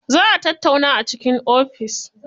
Za a tattauna a cikin ofis.